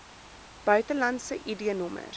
buitelandse id nommers